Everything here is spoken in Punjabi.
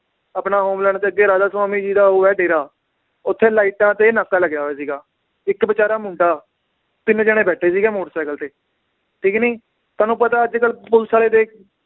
ਆਪਣਾ ਹੋਮਲੈਂਡ ਦੇ ਅੱਗੇ ਰਾਧਾ ਸੁਆਮੀ ਜੀ ਦਾ ਉਹ ਹੈ ਡੇਰਾ ਓਥੇ ਲਾਈਟਾਂ ਤੇ ਨਾਕਾ ਲਗਿਆ ਹੋਇਆ ਸੀਗਾ, ਇੱਕ ਬੇਚਾਰਾ ਮੁੰਡਾ ਤਿੰਨ ਜਾਣੇ ਬੈਠੇ ਸੀਗੇ ਮੋਟਰ ਸਾਇਕਲ ਤੇ ਠੀਕ ਨੀ, ਤੁਹਾਨੂੰ ਪਤਾ ਅੱਜਕੱਲ ਪੁਲਸ ਵਾਲੇ ਆਲੇ ਦੇ